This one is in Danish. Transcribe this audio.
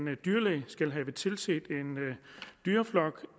en dyrlæge skal have tilset en dyreflok